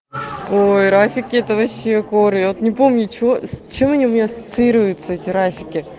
ой рафик это вообще коры от не помню что они у меня ассоциируется